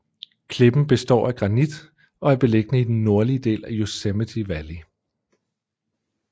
Klippen består af granit og er beliggende i den nordlige del af Yosemite Valley